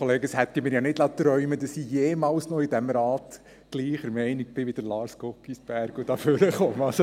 Das hätte ich mir nicht träumen lassen, dass ich jemals noch in diesem Rat gleicher Meinung bin wie Lars Guggisberg und nach vorne komme.